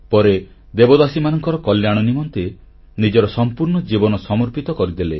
ପରେ ଦେବଦାସୀମାନଙ୍କର କଲ୍ୟାଣନିମନ୍ତେ ନିଜର ସମ୍ପୂର୍ଣ୍ଣ ଜୀବନ ସମର୍ପିତ କରିଦେଲେ